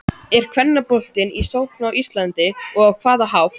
Er kvennaboltinn í sókn á Íslandi og á hvaða hátt?